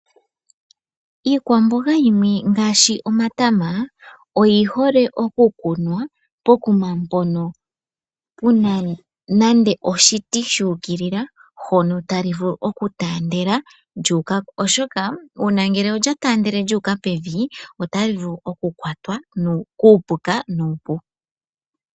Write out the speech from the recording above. Iikwamboga yimwe ngaashi omatama, oyi hole oku kunwa pokums mpono pena nande oshi ti shuukilika, hono ta li vulu oku taandela, lyu uka mombanda, osho ngele olya taandele lyu uka pevi, ota li vulu oku kwatwa kuupuka nuupu.